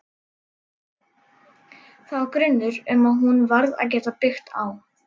Það var grunnur sem hún varð að geta byggt á.